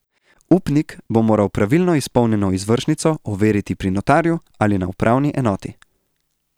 Upnik bo moral pravilno izpolnjeno izvršnico overiti pri notarju ali na upravni enoti.